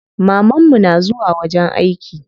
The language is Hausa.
Maman mu na zuwa wajen aiki.